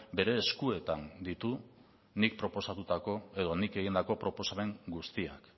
bere eskuetan ditu nik proposatutako edo nik egindako proposamen guztiak